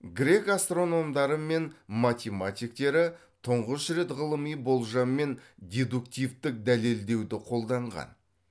грек астрономдары мен математиктері тұңғыш рет ғылыми болжам мен дедуктивтік дәлелдеуді қолданған